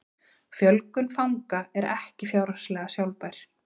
Fjölgun fanga er ekki fjárhagslega sjálfbær